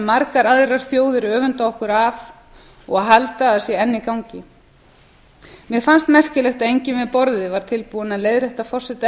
margar aðrar þjóðir öfunda okkur af og halda að sé enn í gangi mér fannst merkilegt að enginn við borðið var tilbúinn að leiðrétta forseta